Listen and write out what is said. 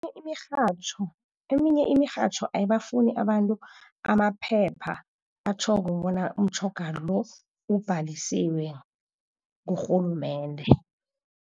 Imirhatjho, eminye imirhatjho ayibafuni abantu amaphepha atjhoko bona umtjhoga lo ubhalisiwe kurhulumende.